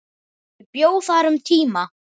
Ég bjó þar um tíma.